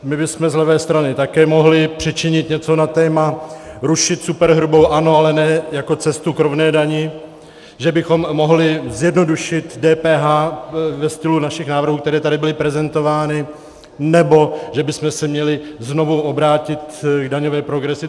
My bychom z levé strany také mohli přičinit něco na téma rušit superhrubou, ano, ale ne jako cestu k rovné dani, že bychom mohli zjednodušit DPH ve stylu našich návrhů, které tady byly prezentovány, nebo že bychom se měli znovu obrátit k daňové progresi.